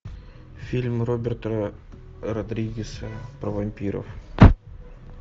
фильм роберта родригеса про вампиров